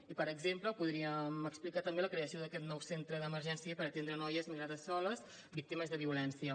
i per exemple podríem explicar també la creació d’aquest nou centre d’emergència per atendre noies migrades soles víctimes de violència